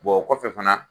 o kɔfɛ fana